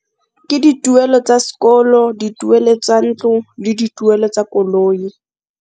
Ke dituelo tsa sekolo, dituelo tsa ntlo le dituelo tsa koloi.